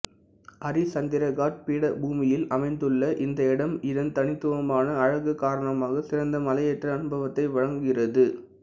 அரிச்சந்திரகாட் பீடபூமியில் அமைந்துள்ள இந்த இடம் இதன் தனித்துவமான அழகு காரணமாகச் சிறந்த மலையேற்ற அனுபவத்தை வழங்குகிறது